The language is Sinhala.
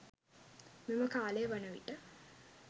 මෙම කාලය වන විට